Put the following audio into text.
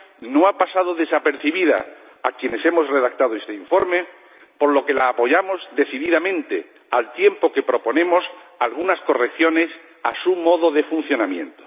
no ha pasado desapercibida a quienes hemos redactado este informe, por lo que la apoyamos decididamente, al tiempo que proponemos algunas correcciones a su modo de funcionamiento.